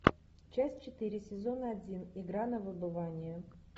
часть четыре сезон один игра на выбывание